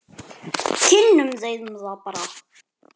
Kynnum þeim það bara.